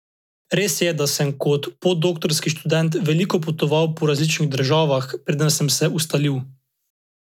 Res je, da sem kot podoktorski študent veliko potoval po različnih državah, preden sem se ustalil.